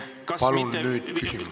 Palun nüüd küsimus!